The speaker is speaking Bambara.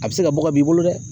A bɛ se ka bɔ ka b'i bolo dɛ